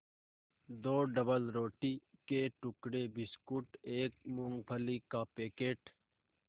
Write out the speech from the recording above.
दो डबलरोटी के टुकड़े बिस्कुट एक मूँगफली का पैकेट